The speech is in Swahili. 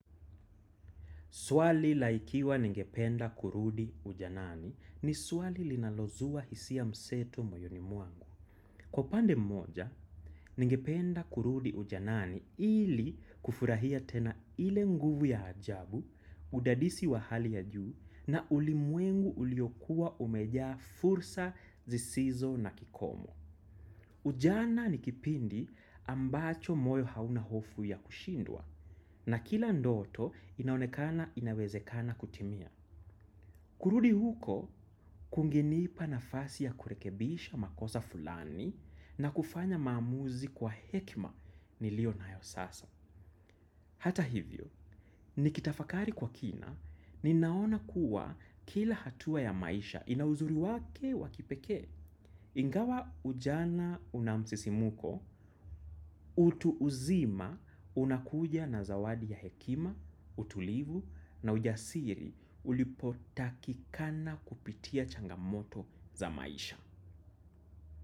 Swali la ikiwa ningependa kurudi ujanani ni swali linalozuwa hisia mseto moyoni mwangu. Kwa upande mmoja, ningependa kurudi ujanani ili kufurahia tena ile nguvu ya ajabu, udadisi wa hali ya juu na ulimwengu uliokuwa umejaa fursa zisizo na kikomo. Ujana ni kipindi ambacho moyo hauna hofu ya kushindwa na kila ndoto inaonekana inawezekana kutimia. Kurudi huko kungenipa nafasi ya kurekebisha makosa fulani na kufanya maamuzi kwa hekima niliyo nayo sasa. Hata hivyo, nikitafakari kwa kina ninaona kuwa kila hatua ya maisha ina uzuri wake wa kipekee. Ingawa ujana una msisimuko, utu uzima unakuja na zawadi ya hekima, utulivu na ujasiri ulipotakikana kupitia changamoto za maisha.